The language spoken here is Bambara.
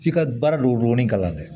F'i ka baara don o donni kalan na dɛ